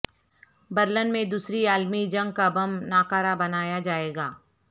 Berlin میں دوسری عالمی جنگ کا بم ناکارہ بنایا جائے گا